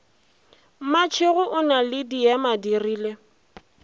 mmatšhego o na le diemadirile